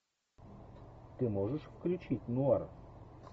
ты можешь включить нуар